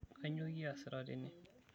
Kainyoo kiasita tene?